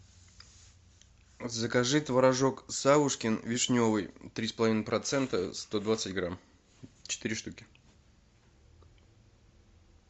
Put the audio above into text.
закажи творожок савушкин вишневый три с половиной процента сто двадцать грамм четыре штуки